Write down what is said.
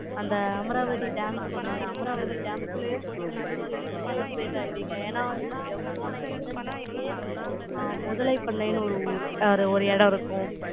அந்த அமராவதி dam ஒண்ணு சொன்னல, அமராவதி dam க்கு உள்ளேயே போனீங்கன்னா, நீங்க நல்லா excite ஆய்வீங்க. ஏன்னா, போன entrance லயே, அ, முதலை பண்ணைன்னு ஒரு ஊர், ஒரு இடம் இருக்கும்.